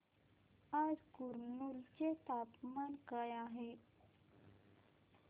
आज कुरनूल चे तापमान काय आहे